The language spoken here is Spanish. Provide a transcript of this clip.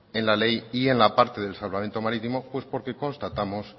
en la ley y en la parte del salvamento marítimo porque constatamos